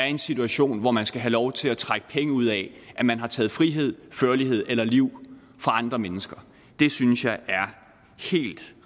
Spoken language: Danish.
en situation hvor man skal have lov til at trække penge ud af at man har taget frihed førlighed eller liv fra andre mennesker det synes jeg er